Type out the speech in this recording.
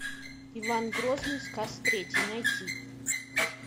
иван грозный сказ третий найти